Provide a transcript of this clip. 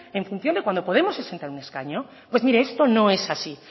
en función de cuando podemos se sienta en un escaño pues mire esto no es así